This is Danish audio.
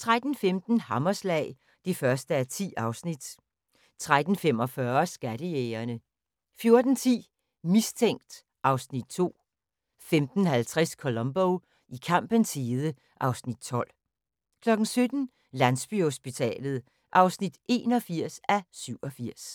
13:15: Hammerslag (1:10) 13:45: Skattejægerne 14:10: Mistænkt (Afs. 2) 15:50: Columbo: I kampens hede (Afs. 12) 17:00: Landsbyhospitalet (81:87)